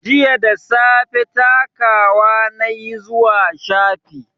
Jiya da safe takawa na yi zuwa shafi